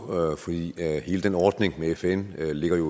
fordi hele den ordning med fn jo ligger